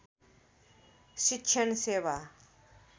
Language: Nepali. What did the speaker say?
शिक्षण सेवा